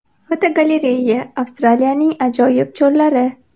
Fotogalereya: Avstraliyaning ajoyib cho‘llari.